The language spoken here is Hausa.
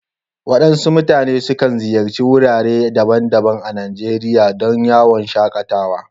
Waɗansu mutane sukan ziyarci wurare daban-daban a Najeriya don yawon shaƙatawa